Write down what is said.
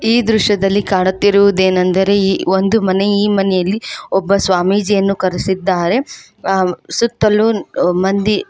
ಈ ದೃಶ್ಯದಲ್ಲಿ ಕಾಣುತ್ತಿರುವುದೇನೆಂದರೆ ಈ ಒಂದು ಮನೆ ಈ ಮನೆಯಲ್ಲಿ ಒಬ್ಬ ಸ್ವಾಮೀಜಿಯನ್ನು ಕರೆಸಿದ್ದಾರೆ ಸುತ್ತಲೂ ಮಂದಿ --